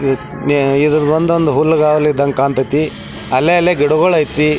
ಇದರದೊಂದ ಹುಲ್ಲುಗಾವಲು ಇದ್ದಂಗ ಕಾಂತೈತಿ ಅಲ್ಲಲ್ಲಿ ಗಿಡಗಳು ಐತಿ.